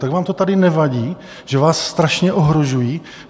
Tak vám to tady nevadí, že vás strašně ohrožují?